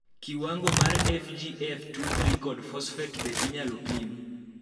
kiwango mar FGF23 kod fosfet be inyal pim